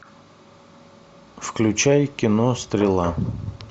включай кино стрела